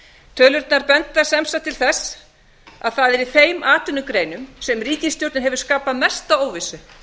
tölurnar benda sem sagt til þess að það sé í þeim atvinnugreinum sem ríkisstjórnin hefur skapað mesta óvissu